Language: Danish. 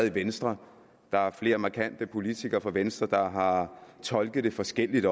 i venstre der er flere markante politikere fra venstre der har tolket det forskelligt